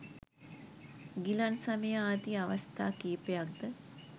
ගිලන් සමය ආදී අවස්ථා කීපයක් ද